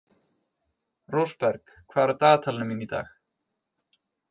Rósberg, hvað er á dagatalinu mínu í dag?